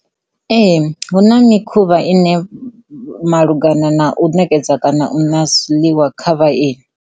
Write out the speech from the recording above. Ee, hu na mikhuvha ine malugana na u nekedza zwiḽiwa kha vhaeni.